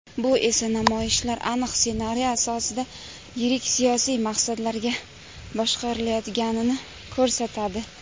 Bu esa namoyishlar aniq ssenariy asosida yirik siyosiy maqsadlarda boshqarilayotganini ko‘rsatadi.